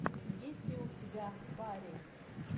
есть ли у тебя барри